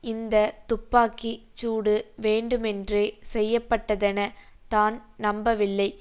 இந்த துப்பாக்கி சூடு வேண்டுமென்றே செய்யப்பட்டதென தான் நம்பவில்லை